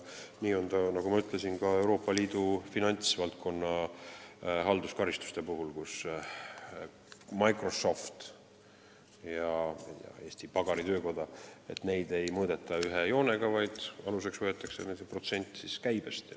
Nii nagu ma ütlesin, Euroopa Liidus ei mõõdeta finantsvaldkonna halduskaristuste määramisel Microsofti ja Eesti pagaritöökoda ühe joonega, vaid aluseks võetakse protsent käibest.